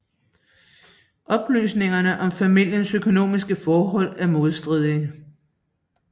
Oplysningerne om familiens økonomiske forhold er modstridende